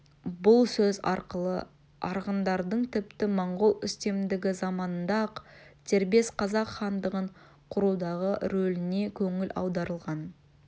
бұл сөз арқылы арғындардың тіпті моңғол үстемдігі заманында-ақ дербес қазақ хандығын құрудағы рөліне көңіл аударылған